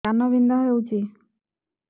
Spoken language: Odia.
କାନ ବିନ୍ଧା ହଉଛି